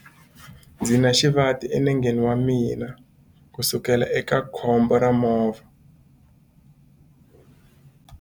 Ndzi na xivati enengeni wa mina kusukela eka khombo ra movha.